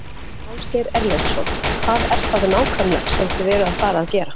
Ásgeir Erlendsson: Hvað er það nákvæmlega sem þið eruð að fara gera?